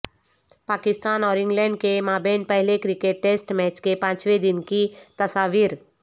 پاکستان اور انگلینڈ کے مابین پہلے کرکٹ ٹیسٹ میچ کے پانچویں دن کی تصاویر